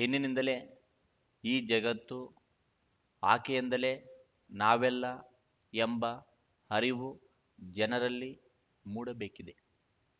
ಹೆಣ್ಣಿನಿಂದಲೇ ಈ ಜಗತ್ತು ಆಕೆಯಿಂದಲೇ ನಾವೆಲ್ಲ ಎಂಬ ಅರಿವು ಜನರಲ್ಲಿ ಮೂಡಬೇಕಿದೆ